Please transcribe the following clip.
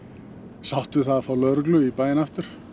sátt við það að fá lögreglu í bæinn aftur